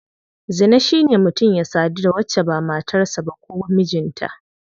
Zina shine mutum ya sadu da wacce ba matar sa ba ko mijinta.